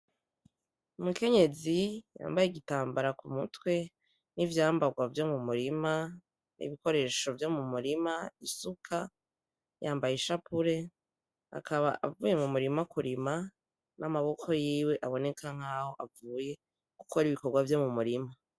Umukenyezi yambaye igitamara ku mutwe n'ivyambarwa vyo mu murima n'ibikoresho vyo mu murima isuka yambaye ishapure akaba avuye mu murima kurima n'amaboko yiwe aboneka nkaho avuye gukora ibikorwa vyo mu murima.